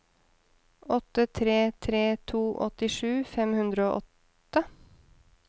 åtte tre tre to åttisju fem hundre og åtte